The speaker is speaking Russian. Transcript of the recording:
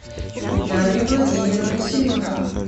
дарья владимировна семенова